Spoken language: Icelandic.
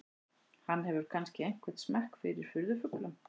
Hann hefur kannski einhvern smekk fyrir furðufuglum.